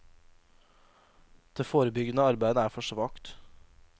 Det forebyggende arbeidet er for svakt.